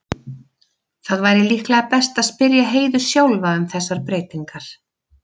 Það væri líklega best að spyrja Heiðu sjálfa um þessar breytingar.